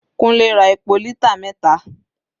Kunle ra epo lítà mẹta.